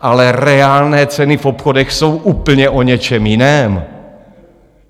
Ale reálné ceny v obchodech jsou úplně o něčem jiném.